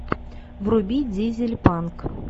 вруби дизель панк